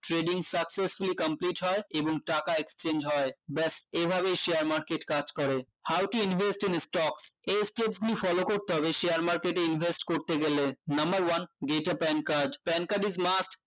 trading successfully complete হয় এবং টাকা exchange হয় ব্যাস এভাবেই share market কাজ করে how to invest in stocks এই step গুলি follow করতে হবে share market এ invest করতে গেলে number one PANcardPANcard is must